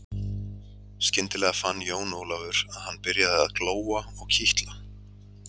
Skyndilega fann Jón Ólafur að hann byrjaði að glóa og kitla.